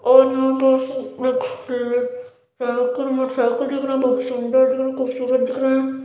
और motorcycle cycle दिख रहे हैं बहुत सुंदर दिख रहे हैं खूबसूरत दिख रहे हैं ।